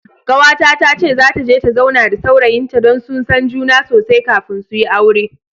Kawata tace zata je ta zauna da saurayin ta, dan su san juna sosai kafin suyi aure.